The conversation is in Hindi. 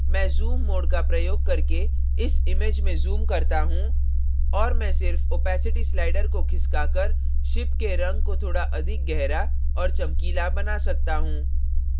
मैं zoom mode का प्रयोग करके इस image में zoom करता हूँ और मैं सिर्फ opacity slider को खिसकाकर ship के रंग को थोड़ा अधिक गहरा और चमकीला बना सकता हूँ